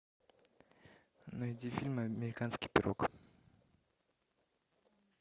найди фильм американский пирог